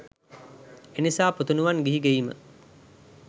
එනිසා පුතණුවන් ගිහි ගෙයිම